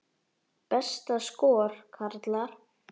Besta skor, karlar